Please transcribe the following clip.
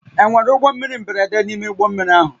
Enwere ụgbọ mmiri mberede n'ime ụgbọ mmiri ahụ?